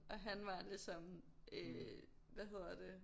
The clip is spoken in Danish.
Og han var ligesom øh hvad hedder det